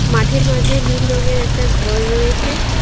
মাঠের মাঝে নীল রঙের একটা ঘর রয়েছে।